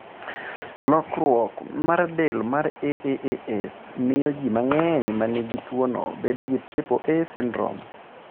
Lokruok mar del mar AAAS miyo ji mang'eny ma nigi tuwono bedo gi triple A syndrome.